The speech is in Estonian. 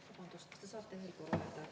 Vabandust, kas te saate veel korra öelda?